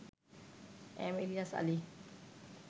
M Ilias Ali